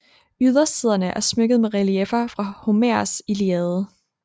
Ydersiderne er smykket med relieffer fra Homers Iliade